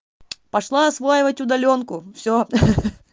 пошла осваивать удалёнку всё ха-ха